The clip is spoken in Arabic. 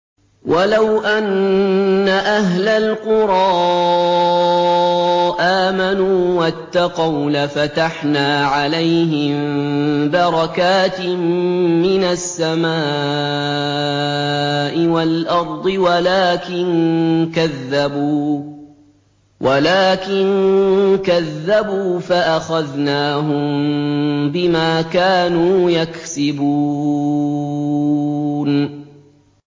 وَلَوْ أَنَّ أَهْلَ الْقُرَىٰ آمَنُوا وَاتَّقَوْا لَفَتَحْنَا عَلَيْهِم بَرَكَاتٍ مِّنَ السَّمَاءِ وَالْأَرْضِ وَلَٰكِن كَذَّبُوا فَأَخَذْنَاهُم بِمَا كَانُوا يَكْسِبُونَ